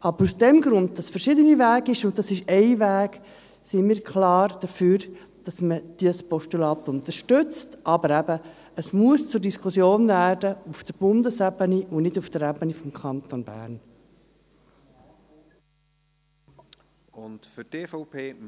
Aus diesem Grund, weil es verschiedene Wege gibt, und dies ist ein Weg, sind wir klar dafür, dass man das Postulat unterstützt, aber eben: Es muss auf Bundesebene, nicht auf der Ebene des Kantons Bern, zur Diskussion